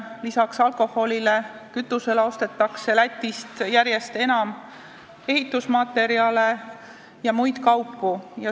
Lisaks alkoholile ja kütusele ostetakse Lätist järjest enam ehitusmaterjale ja muid kaupu.